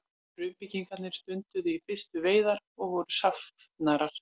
frumbyggjarnir stunduðu í fyrstu veiðar og voru safnarar